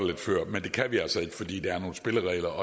lidt før men det kan vi altså ikke fordi der er nogle spilleregler